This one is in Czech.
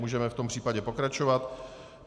Můžeme v tom případě pokračovat.